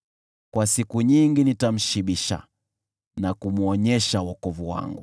Kwa siku nyingi nitamshibisha na kumwonyesha wokovu wangu.”